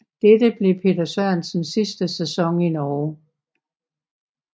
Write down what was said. Dette blev Peter Sørensens sidste sæson i Norge